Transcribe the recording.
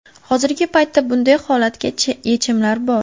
Hozirgi paytda bunday holatga yechimlar bor.